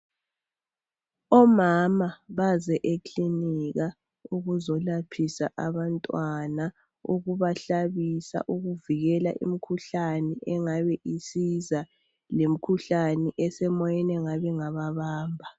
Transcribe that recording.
Omama baze eklinika ukuzolaphisa abantwana ukuba hlabisa, ukuvikela imkhuhlane engabe isiza lemikhuhlane esemoyeni engabe ingababamba.